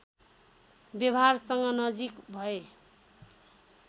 व्यवहारसँग नजिक भए